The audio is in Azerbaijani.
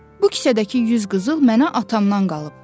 Bu kisədəki yüz qızıl mənə atamdan qalıb.”